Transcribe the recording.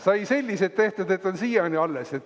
Sai sellised tehtud, et on siiani alles.